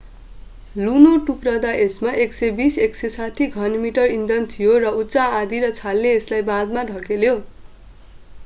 लुनो टुक्रिदा यसमा 120-160 घनमिटर इन्धन थियो र उच्च आँधी र छालले यसलाई बाँधमा धकेल्यो